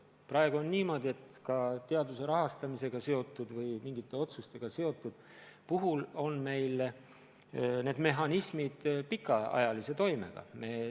Praegu on niimoodi, et näiteks teaduse rahastamisega seotud või mingite muude otsuste puhul on meil need mehhanismid pikaajalise toimega.